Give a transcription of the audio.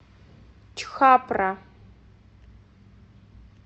чхапра